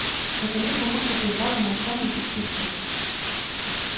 наконец мамулька прервала молчание и спросила